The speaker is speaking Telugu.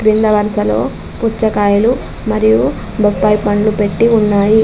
కింద వరసలో పుచ్చకాయలు మరియు బొప్పాయి పండ్లు పెట్టి ఉన్నాయి.